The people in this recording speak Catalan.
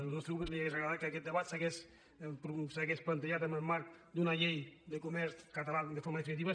al nostre grup li hauria agradat que aquest debat s’hagués plantejat en el marc d’una llei de comerç català de forma definitiva